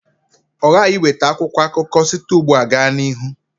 Ọ ghaghị iweta akwụkwọ akụkọ site ugbu a gaa n'ihu.